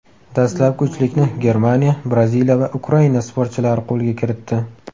Dastlabki uchlikni Germaniya, Braziliya va Ukraina sportchilari qo‘lga kiritdi.